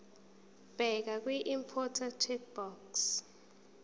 bheka kwiimporter checkbox